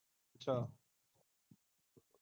ਅੱਛਾ